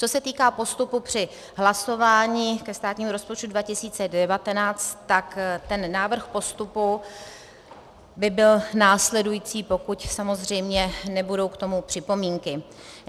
Co se týká postupu při hlasování ke státnímu rozpočtu 2019, tak ten návrh postupu by byl následující, pokud samozřejmě nebudou k tomu připomínky.